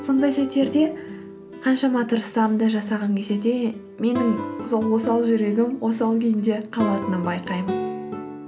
сондай сәттерде қаншама тырыссам да жасағым келсе де менің сол осал жүрегім осал күйінде қалатынын байқаймын